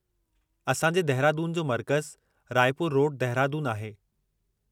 असां जे दहिरादून जो मरकज़ु राइ पूरु रोड, दहिरादून आहे।